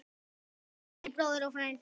Kæri bróðir og frændi.